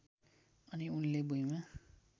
अनि उनले भुइँमा